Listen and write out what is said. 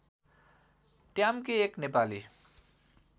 ट्याम्के एक नेपाली